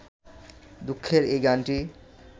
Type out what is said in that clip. দুঃখের এই গানটি